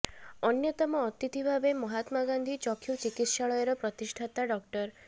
ଅନ୍ୟତମ ଅତିଥି ଭାବେ ମହାତ୍ମା ଗାନ୍ଧୀ ଚକ୍ଷୁ ଚିକିତ୍ସାଳୟର ପ୍ରତିଷ୍ଠାତା ଡ